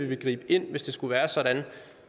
vil gribe ind hvis det skulle være sådan